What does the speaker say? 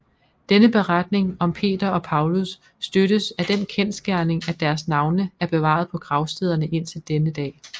Denne beretning om Peter og Paulus støttes af den kendsgerning at deres navne er bevaret på gravstederne indtil denne dag